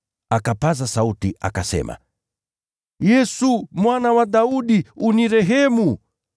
Akapaza sauti, akasema, “Yesu, Mwana wa Daudi, nihurumie!”